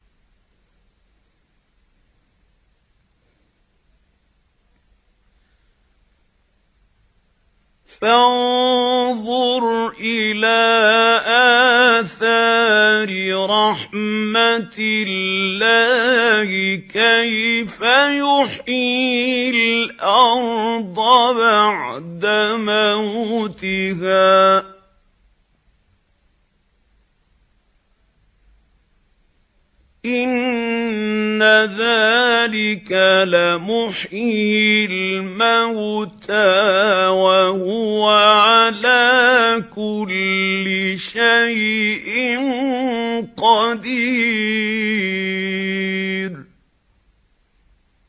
فَانظُرْ إِلَىٰ آثَارِ رَحْمَتِ اللَّهِ كَيْفَ يُحْيِي الْأَرْضَ بَعْدَ مَوْتِهَا ۚ إِنَّ ذَٰلِكَ لَمُحْيِي الْمَوْتَىٰ ۖ وَهُوَ عَلَىٰ كُلِّ شَيْءٍ قَدِيرٌ